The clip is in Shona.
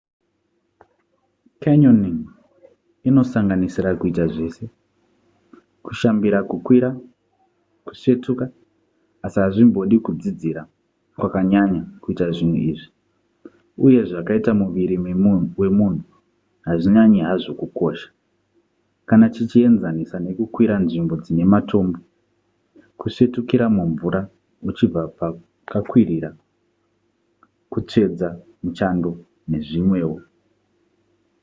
canyoning inosanganisira kuita zvese kushambira kukwira kusvetuka asi hazvimbodi kudzidzira kwakanyanya kuita zvinhu izvi uye zvakaita muviri wemunhu hazvinyanyi hazvo kukosha kana tichienzanisa nekukwira nzvimbo dzine matombo kusvetukira mumvura uchibva pakakwirira kutsvedza muchando nezvimwewo